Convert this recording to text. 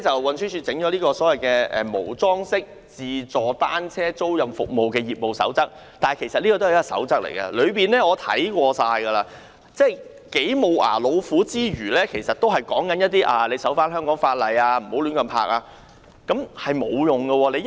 運輸署推出的《無樁式自助單車租賃服務業務守則》，我已看過有關內容，可說是"無牙老虎"，當中只要求營辦商遵守香港法例，不要將單車亂泊，根本沒有規管作用。